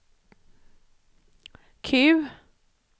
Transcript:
Q